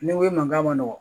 Ni n ko i man kan ma nɔgɔn